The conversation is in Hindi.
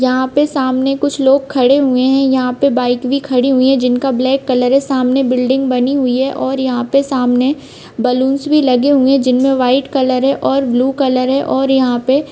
यहां पे सामने कुछ लोग खड़े हुए है यहां पे बाइक भी खड़ी हुई है जिनका ब्लैक कलर सामने बिल्डिंग बनी हुई है और सामने बलूनस भी लगे हुए है जिनमे वाइट कलर और ब्लू कलर और यहां पे--